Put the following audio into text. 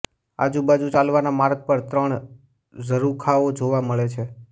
આજુબાજુ ચાલવાના માર્ગ પર ત્રણ ઝરુખાઓ જોવા મળે છે